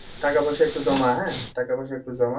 টাকা পয়সা একটু জমা হ্যাঁ? টাকা পয়সা একটু জমা।